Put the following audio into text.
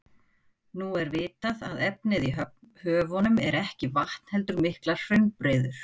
Nú er vitað að efnið í höfunum er ekki vatn heldur miklar hraunbreiður.